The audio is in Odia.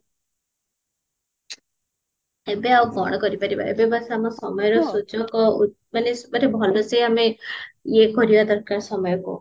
ଏବେ ଆଉ କଣ କରିପାରିବ ଏବେ ବାସ ଆମ ସମୟର ସୁଯୋଗ ମାନେ ଭଲସେ ଆମେ ଇଏ କରିବା ଦରକାର ସମୟକୁ